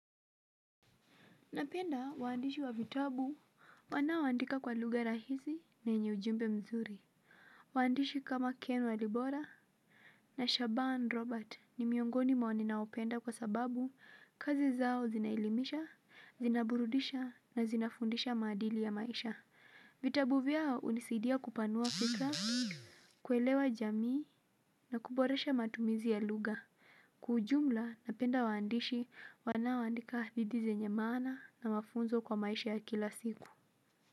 Napenda waandishi wa vitabu wanaoandika kwa lugha rahisi na yenye ujumbe mzuri. Waandishi kama Ken walibora na Shaban Robert ni miongoni mwa ninaopenda kwa sababu kazi zao zinaelimisha, zinaburudisha na zinafundisha maadili ya maisha vitabu vyao hunisidia kupanua fikra, kuelewa jamii na kuboresha matumizi ya lugha kwa ujumla napenda waandishi wanaoandika hadithi zenye maana na mafunzo kwa maisha ya kila siku.